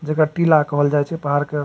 जेकर टीला कहल जाये छे पहाड़ के।